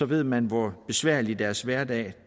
ved man hvor besværlig deres hverdag